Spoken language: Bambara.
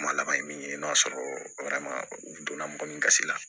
Kuma laban ye min ye n'a sɔrɔ donna mɔgɔ min kasi la